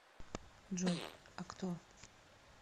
джой а кто